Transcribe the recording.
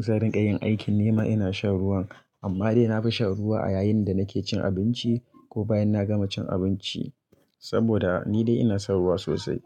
Sa'in rinkayin aikin nima ina shan ruwan. Amma dai na fi shan ruwa a yayin da nake cin abinci ko bayan na gama cin abinci saboda ni dai ina son ruwa sosai.